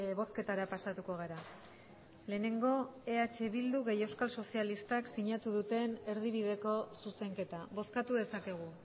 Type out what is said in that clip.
bozketara pasatuko gara lehenengo eh bildu eta euskal sozialistak sinatu duten erdibideko zuzenketa bozkatu dezakegu